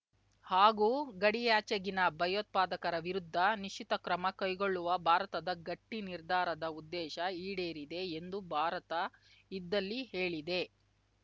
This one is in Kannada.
ಹಾಗೂ ಗಡಿಯಾಚೆಗಿನ ಭಯೋತ್ಪಾದಕರ ವಿರುದ್ಧ ನಿಶ್ಚಿತ ಕ್ರಮ ಕೈಗೊಳ್ಳುವ ಭಾರತದ ಗಟ್ಟಿ ನಿರ್ಧಾರದ ಉದ್ದೇಶ ಈಡೇರಿದೆ ಎಂದು ಭಾರತ ಇದ್ದಲ್ಲಿ ಹೇಳಿದೆ